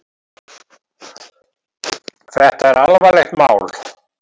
Þetta er alvarlegt mál.